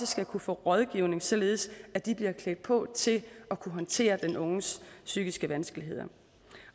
skal kunne få rådgivning således at de bliver klædt på til at kunne håndtere den unges psykiske vanskeligheder